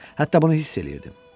Hətta bunu hiss eləyirdim.